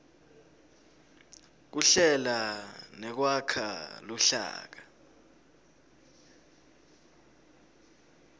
kuhlela nekwakha luhlaka